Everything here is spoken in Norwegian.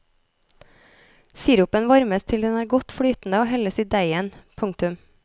Sirupen varmes til den er godt flytende og helles i deigen. punktum